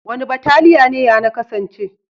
Wani bataliya ne yana kasance?